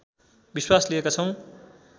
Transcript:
विश्वास लिएका छौँ